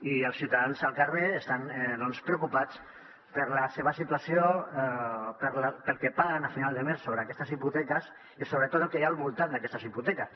i els ciutadans al carrer estan doncs preocupats per la seva situació pel que paguen a final de mes sobre aquestes hipoteques i sobretot el que hi ha al voltant d’aquestes hipoteques